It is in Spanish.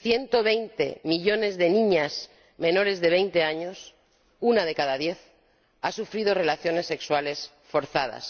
Ciento veinte millones de niñas menores de veinte años —una de cada diez— han sufrido relaciones sexuales forzadas.